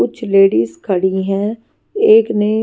कुछ लेडीज खड़ी हैं एक ने--